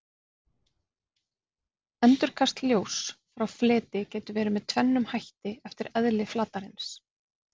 endurkast ljóss frá fleti getur verið með tvennum hætti eftir eðli flatarins